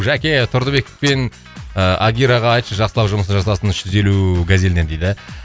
жәке тұрдыбек пен ы адираға айтшы жақсылап жұмысты жасасын үш жүз елу газеліне дейді